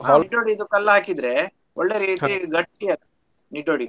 ಹಾಕಿದ್ರೆ ಒಳ್ಳೇ ರೀತಿ ಗಟ್ಟಿ ಆಗ್ತದೆ .